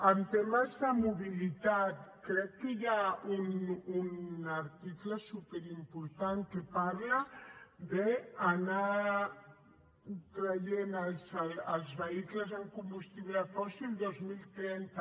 en temes de mobilitat crec que hi ha un article superimportant que parla d’anar traient els vehicles amb combustible fòssil el dos mil trenta